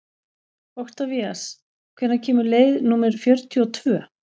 Oktavías, hvenær kemur leið númer fjörutíu og tvö?